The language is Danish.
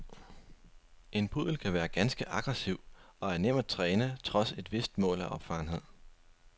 En puddel kan være ganske aggressiv og er nem at træne trods et vist mål af opfarenhed.